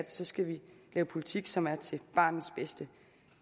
så skal vi lave politik som er til barnets bedste